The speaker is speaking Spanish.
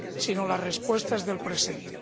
sino las respuestas del presente.